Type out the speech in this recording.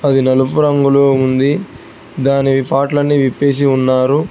అది నలుపు రంగులో ఉంది దానివి పార్ట్లన్ని అన్ని విప్పేసి ఉన్నారు.